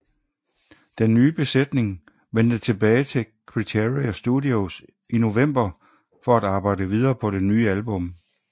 Den nye besætning vendte tilbage til Criteria Studios i november for at arbejde videre på det nye album